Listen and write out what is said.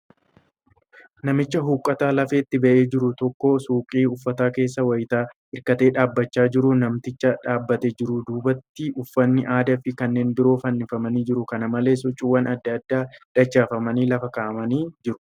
Namtichi huiqqataan lafeetti ba'ee jiru tokko suuqii uffataabkeessa wayitti hirkatee dhaabachaa jira. Namticha dhaabatee jiruun duubatti uffanni aadaa fi kanneen biroo fannifamanii jiru. Kana malees, huccuuwwan adda addaa dachaafamanii lafa kaa'amanii jiru.